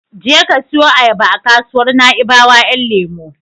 Je ka siyo ayaba a kasuwar Naibawa Ƴan lemo.